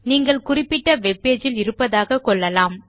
நீங்கள் குறிப்பிட்ட வெப்பேஜ் இல் இருப்பதாக கொள்ளலாம்